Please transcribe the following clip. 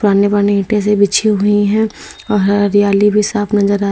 आने बाने ईटें से बिछी हुई हैं और हरियाली भी साफ नजर आ--